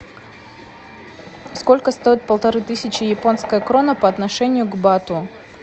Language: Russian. сколько стоит полторы тысячи японская крона по отношению к бату